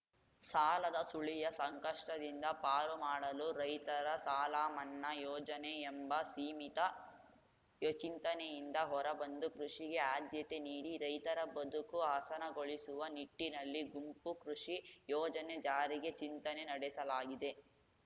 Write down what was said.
ಸಾಲದ ಸುಳಿಯ ಸಂಕಷ್ಟದಿಂದ ಪಾರು ಮಾಡಲು ರೈತರ ಸಾಲಮನ್ನಾ ಯೋಜನೆ ಎಂಬ ಸೀಮಿತ ಚಿಂತನೆಯಿಂದ ಹೊರಬಂದು ಕೃಷಿಗೆ ಆದ್ಯತೆ ನೀಡಿ ರೈತರ ಬದುಕು ಹಸನಗೊಳಿಸುವ ನಿಟ್ಟಿನಲ್ಲಿ ಗುಂಪು ಕೃಷಿ ಯೋಜನೆ ಜಾರಿಗೆ ಚಿಂತನೆ ನಡೆಸಲಾಗಿದೆ